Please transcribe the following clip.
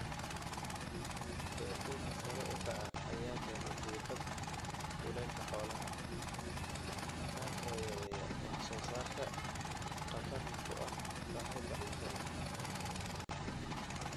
Heerkulka sare u kaca ayaa keena diiqad kulaylka xoolaha, kaas oo yareeya wax soo saarka khatarna ku ah sahayda cuntada.